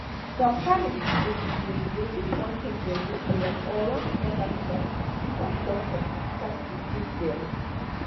some families wey be say dem fit wan make dem do prayers or run small sacrifice before doctor start to dey treat them.